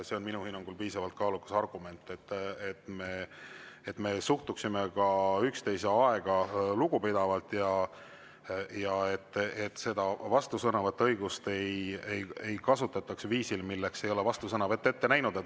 See on minu hinnangul piisavalt kaalukas argument, et me suhtuksime ka üksteise aega lugupidavalt ja et seda vastusõnavõtu õigust ei kasutataks viisil, milleks ei ole vastusõnavõtt ette nähtud.